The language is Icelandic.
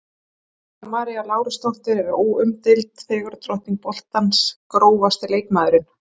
Dóra María Lárusdóttir er óumdeild fegurðardrottning boltans Grófasti leikmaðurinn?